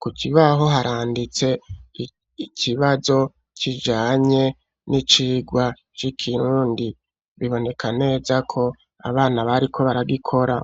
ku kibaho haranditse ikibazo kijanye n'icigwa c'ikirundi biboneka neza ko abana bariko baragikora